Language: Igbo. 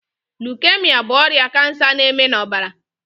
Lukemia bụ ọrịa kansa na- eme na ọbara